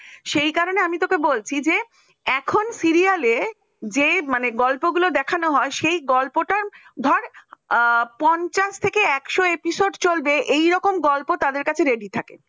সেই কারণেই আমি তোকে বলছি যে এখন serial যে গল্পগুলো দেখানো হয় সেই গল্পটা ধর আ পঞ্ছাস থেকন এক্সও episode চলবে এরকম গল্প তাদের কাছে ready থাকে fine